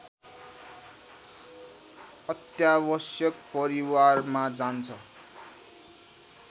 अत्यावश्यक परिवारमा जान्छ